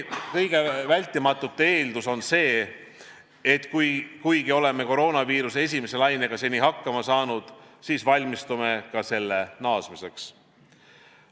Kõige vältimatu eeldus on see, et kuigi oleme koroonaviiruse esimese lainega seni hakkama saanud, siis valmistume ka selle naasmiseks.